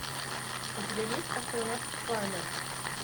у тебя есть астронавт фармер